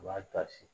U b'a dasi